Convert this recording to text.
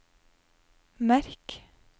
merk